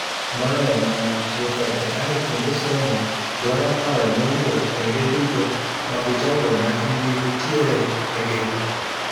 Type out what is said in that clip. moloyo mano, tiyo kod AI kuonde somo dwaro paro mowuok kuonde duto mag jogo machunygi nitie egino